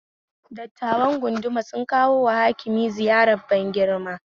Dattawar gunduma sun kawoma Hakima ziyarar ban girma